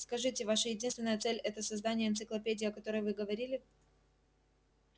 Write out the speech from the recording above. скажите ваша единственная цель это создание энциклопедии о которой вы говорили